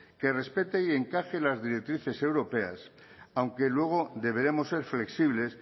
que respete y encaje en las directrices europeas aunque luego deberemos ser flexibles